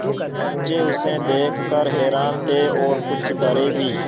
बच्चे उसे देख कर हैरान थे और कुछ डरे भी